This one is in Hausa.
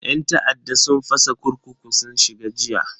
Yan ta'adda sun fasa kurkuku sun shiga jiya.